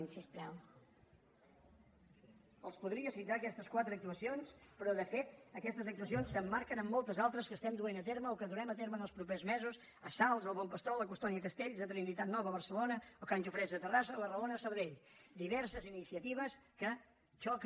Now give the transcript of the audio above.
els podria citar aquestes quatre actuacions però de fet aquestes actuacions s’emmarquen en moltes altres que duem a terme o que durem a terme en els propers mesos a salt al bon pastor a la colònia castells a trinitat nova a barcelona a can jofresa de terrassa o a arraona a sabadell diverses iniciatives que xoca